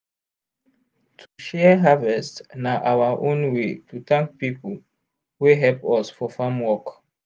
to share harvest na our own way to thank people wey help us for farm work.